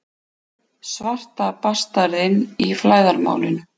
Svarta bastarðinn í flæðarmálinu.